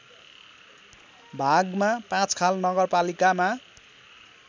भागमा पाँचखाल नगरपालिकामा